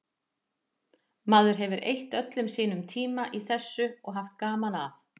Maður hefur eytt öllum sínum tíma í þessu og haft gaman að.